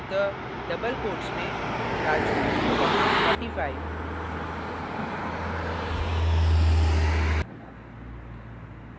अतः double quotes में raju comma 45